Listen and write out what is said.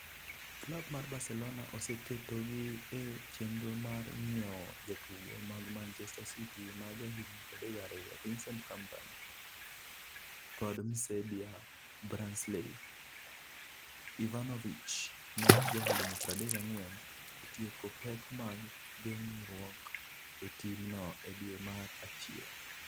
(Gazzetta dello Sport - en dhok mar Italia) Klab mar Barcelona oseketogi e chenro mar ng'iewo jatugo mag Manchester City ma jahigni 32, Vincent Kompany, kod Msebia Branislav Ivanovich, ma jahigni 34, e tieko pek mag geng'ruok e timno e dwe mar achiel.